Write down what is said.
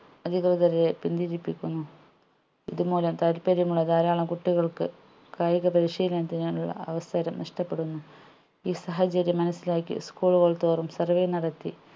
അധികൃതരെ പിന്തിരിപ്പിക്കുന്നു ഇതുമൂലം താല്പര്യമുള്ള ധാരാളം കുട്ടികൾക്ക് കായികപരിശീലനത്തിനുള്ള അവസരം നഷ്ടപ്പെടുന്നു ഈ സാഹചര്യം മനസ്സിലാക്കി school കൾ തോറും survey നടത്തി